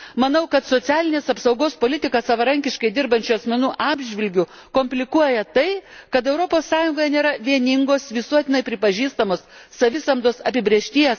Manau, kad socialinės apsaugos politiką savarankiškai dirbančių asmenų atžvilgiu komplikuoja tai, kad Europos Sąjungoje nėra vieningos visuotinai pripažįstamos savisamdos apibrėžties.